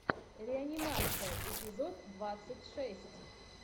реанимация эпизод двадцать шесть